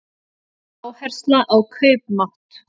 Áhersla á kaupmátt